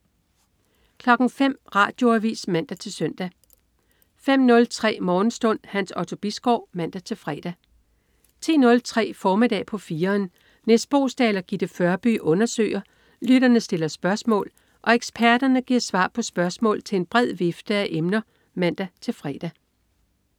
05.00 Radioavis (man-søn) 05.03 Morgenstund. Hans Otto Bisgaard (man-fre) 10.03 Formiddag på 4'eren. Nis Boesdal og Gitte Førby undersøger, lytterne stiller spørgsmål og eksperterne giver svar på spørgsmål til en bred vifte af emner (man-fre)